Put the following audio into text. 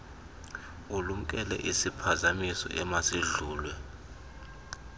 ulumkele isiphazamiso emasidlulwe